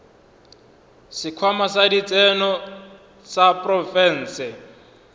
sekhwama sa ditseno sa profense